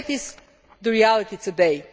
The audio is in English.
So that is the reality today.